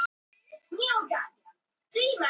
Rut, hver syngur þetta lag?